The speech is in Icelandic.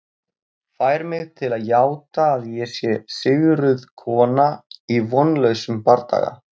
Fær mig til að játa að ég sé sigruð kona í vonlausum bardaga.